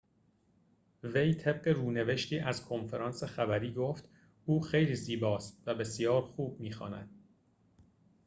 وی طبق رونوشتی از کنفرانس خبری گفت او خیلی زیباست و بسیار خوب می‌خواند